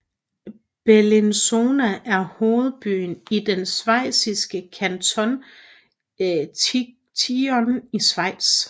Bellinzona er hovedbyen i den schweiziske kanton Ticino i Schweiz